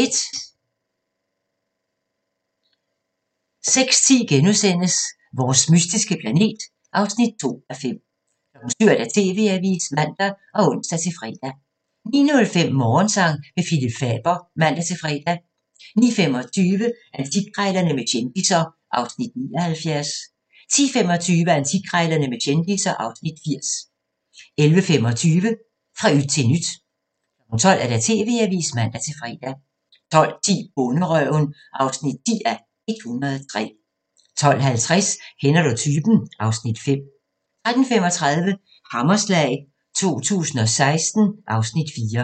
06:10: Vores mystiske planet (2:5)* 07:00: TV-avisen (man og ons-fre) 09:05: Morgensang med Phillip Faber (man-fre) 09:25: Antikkrejlerne med kendisser (Afs. 79) 10:25: Antikkrejlerne med kendisser (Afs. 80) 11:25: Fra yt til nyt 12:00: TV-avisen (man-fre) 12:10: Bonderøven (10:103) 12:50: Kender du typen? (Afs. 5) 13:35: Hammerslag 2016 (Afs. 4)